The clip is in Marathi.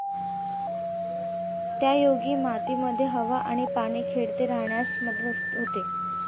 त्यायोगे मातीमध्ये हवा आणि पाणी खेळते राहण्यास मदत होते.